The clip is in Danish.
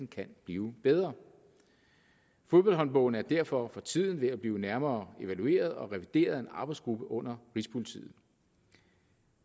kan blive bedre fodboldhåndbogen er derfor for tiden ved at blive nærmere evalueret og revideret af en arbejdsgruppe under rigspolitiet